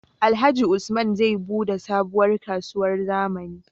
Alhaji usman zai buɗe sabuwar kasuwar zamani